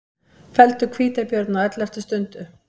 Felldu hvítabjörn á elleftu stundu